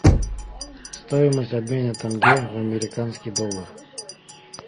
стоимость обмена тенге в американский доллар